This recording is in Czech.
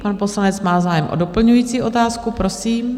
Pan poslanec má zájem o doplňující otázku, prosím.